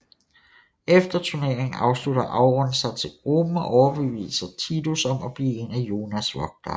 Efter turnering slutter Auron sig til gruppen og overbeviser Tidus om at blive en af Yunas vogtere